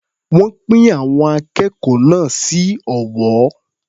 Wọ́n pín àwọn akẹ́kọ̀ọ́ náà sí ọ̀wọ́.